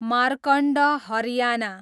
Markand Haryana